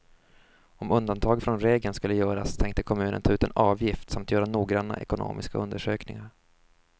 Om undantag från regeln skulle göras tänkte kommunen ta ut en avgift samt göra noggranna ekonomiska undersökningar.